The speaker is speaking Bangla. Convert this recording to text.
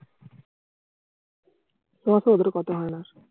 ওতো ওদের কথা হয়না।